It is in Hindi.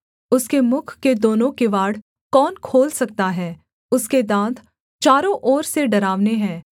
उसके मुख के दोनों किवाड़ कौन खोल सकता है उसके दाँत चारों ओर से डरावने हैं